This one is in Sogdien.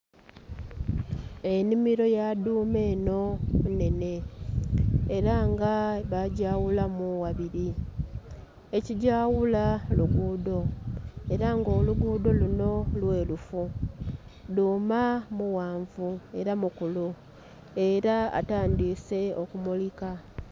Ennhimilo ya dhuuma eno nnhenhe era nga bagyawulamu ghabiri, ekigyawula luguudo era nga oluguudo luno lwerufu, dhuuma mughanvu era mukulu era atandiise okumulika